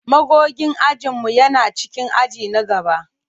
Magogin ajin mu yana cikin aji na gaba.